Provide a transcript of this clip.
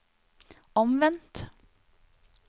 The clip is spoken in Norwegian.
omvendt